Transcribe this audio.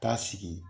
Taa sigi